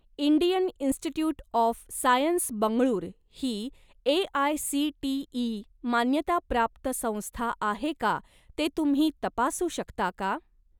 Indian Institute of Science Bengaluru ही AICTE. मान्यताप्राप्त संस्था आहे का ते तुम्ही तपासू शकता का?